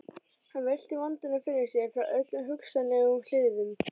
Hann velti vandanum fyrir sér frá öllum hugsanlegum hliðum.